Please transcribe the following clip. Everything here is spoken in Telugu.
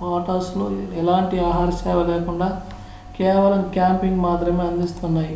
పాటోస్ లు ఎలాంటి ఆహార సేవలేకుండా కేవలం క్యాంపింగ్ మాత్రమే అందిస్తున్నాయి